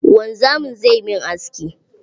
Wanzamin zai min aski.